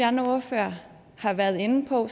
andre ordførere har været inde på